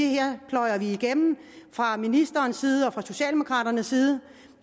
her pløjer vi igennem fra ministerens side og fra socialdemokraternes side